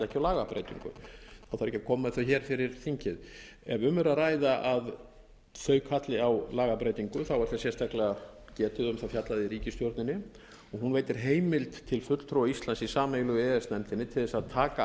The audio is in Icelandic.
þarf ekki að koma með þau hér fyrir þingið ef um er að ræða að þau kalli á lagabreytingu er þess sérstaklega getið og um það fjallað í ríkisstjórninni og hún veitir heimild til fulltrúa íslands í sameiginlegu e e s nefndinni til þess að taka